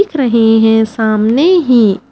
दिख रहे है सामने ही--